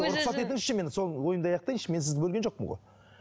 рұқсат етіңізші мен сол ойымды аяқтайыншы мен сізді бөлген жоқпын ғой